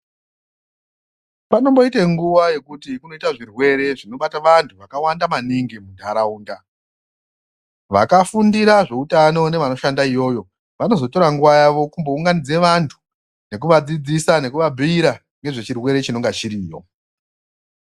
Panomboite nguwa yekuti kunoita zvirwere zvinobata vantu vakawanda maningi mundaraunda vakafundira zveutano nevanoshanda iyoyo vanozotora nguwa yavo kumbounganidze vantu nekuvadzidzisa nekuvabhira ngezvechirwere chinenga chiripo